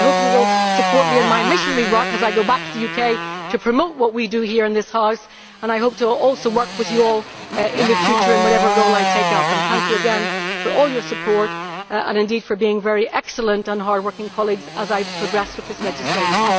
So I hope you will support me in my missionary work as I go back to the UK to promote what we do here in this House, and I hope also to work with you all in the future in whatever role I take up. Thank you again for all your support and indeed for being very excellent and hardworking colleagues as I progress with this legislation.